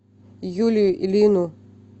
юлию ильину